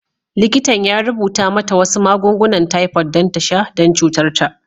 Likitan ya rubuta mata wasu magungunan typhoid don ta sha don cutar ta.